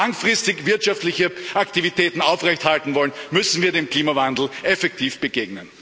Wenn Sie langfristig wirtschaftliche Aktivitäten aufrecht halten wollen, müssen wir dem Klimawandel effektiv begegnen.